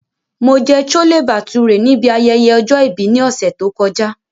Mo jẹ Chole Bhature nibi ayẹyẹ ọjọ-ibi ni ọsẹ to kọja.